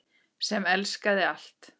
Sem elskaði allt.